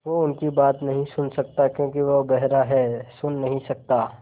वो उनकी बात नहीं सुन सकता क्योंकि वो बेहरा है सुन नहीं सकता